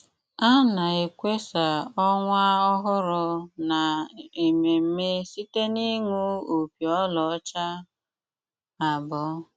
Á ná-ékwásá ọnwá óhúrụ ná emémmé síté n’íṅú ópí óláọ́chá ábụọ.